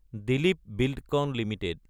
Dilip Buildcon Ltd